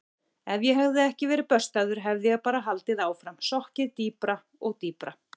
Ef ég hefði ekki verið böstaður hefði ég bara haldið áfram, sokkið dýpra og dýpra.